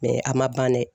a ma ban dɛ